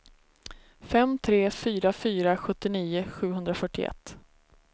fem tre fyra fyra sjuttionio sjuhundrafyrtioett